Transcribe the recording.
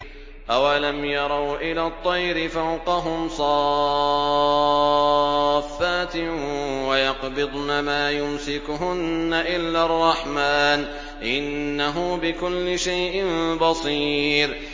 أَوَلَمْ يَرَوْا إِلَى الطَّيْرِ فَوْقَهُمْ صَافَّاتٍ وَيَقْبِضْنَ ۚ مَا يُمْسِكُهُنَّ إِلَّا الرَّحْمَٰنُ ۚ إِنَّهُ بِكُلِّ شَيْءٍ بَصِيرٌ